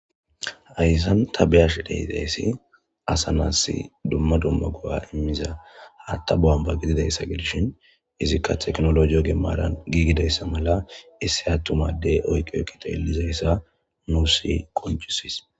Haysan ta be'ashe dizaysi asa nasi duma duma go'a hata buwamba gidishin izika tekinoloje ogen maran gigidaysa mala issi atuma ade eqi dheluzaysa nusi qonc'ises.